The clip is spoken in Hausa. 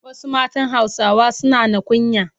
Wasu matan Hausawa suna na kunya.